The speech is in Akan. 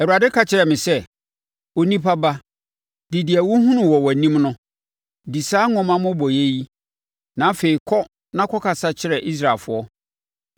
Awurade ka kyerɛɛ me sɛ, “Onipa ba, di deɛ wohunu wɔ wʼanim no, di saa nwoma mmobɔeɛ yi, na afei kɔ na kɔkasa kyerɛ Israelfoɔ.”